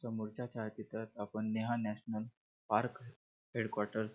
समोरच्या छायाचित्रात आपण Neha national park headquarters --